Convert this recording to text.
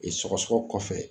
E sɔgɔsɔgɔ kɔfɛ